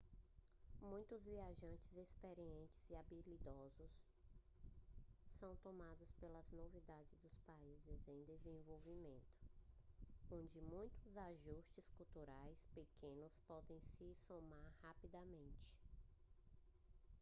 muitos viajantes experientes e habilidosos são tomados pelas novidades dos países em desenvolvimento onde muitos ajustes culturais pequenos podem se somar rapidamente